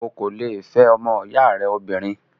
o kò le è fẹ́ ọmọ ìyá rẹ lóbìnrin.